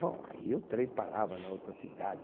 Bom, aí o trem parava na outra cidade.